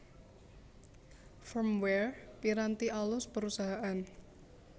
Firmware Piranti alus Perusahaan